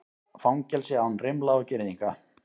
Fangelsi án rimla og girðinga